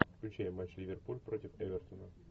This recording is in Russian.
включай матч ливерпуль против эвертона